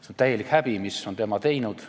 See on täielik häbi, mis on tema teinud.